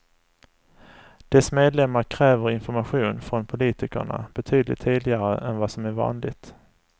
Dess medlemmar kräver information från politikerna betydligt tidigare än vad som är vanligt.